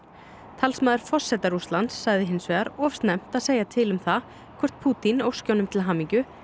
talsmaður forseta Rússlands sagði hins vegar of snemmt að segja til um það hvort Pútín óski honum til hamingju